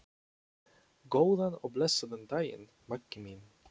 Góðan og blessaðan daginn, Maggi minn.